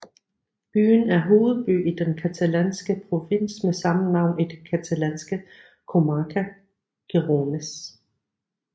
Byen er hovedby i den catalanske provins med samme navn og i det catalanske comarca Gironès